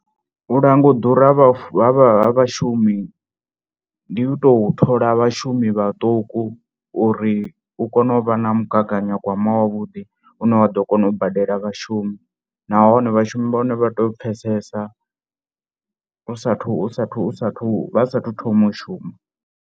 U langa u ḓura ha vha fu, ha vhashumi ndi u tou thola vhashumi vhaṱuku uri u kone u vha na mugaganyagwama wavhuḓi une wa ḓo kona u badela vhashumi nahone vhashumi vha hone vha tea u pfhesesa u sathu sathu sathu vha sathu thoma u shuma.